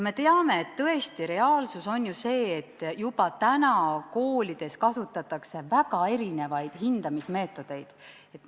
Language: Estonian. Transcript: Me teame, et reaalsus on ju see, et juba täna kasutatakse koolides väga erinevaid hindamismeetodeid.